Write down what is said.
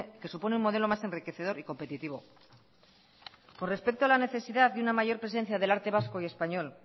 que supone un modelo más enriquecedor y competitivo con respeto a la necesidad de una mayor presencia del arte vasco y español